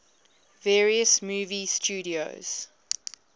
various movie studios